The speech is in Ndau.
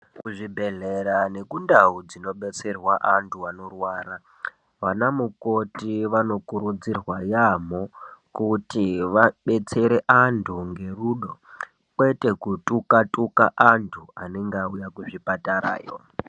Kuzvibhedhlera nekundawo dzinobetserwa antu anorwara, vana mukoti vanokurudzirwa yambo kuti vabetsere antu ngerudo kwetekutuka tuka antu anenge auya kuzvipatara yo.